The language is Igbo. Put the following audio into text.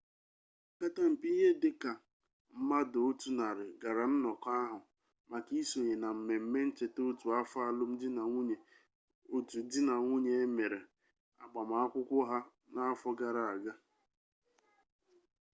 opekata mpe ihe dịka 100 mmadụ gara nnọkọ ahụ maka isonye na mmemme ncheta otu afọ alụmdinanwunye otu di na nwunye e mere agbamakwụkwọ ha n'afọ gara aga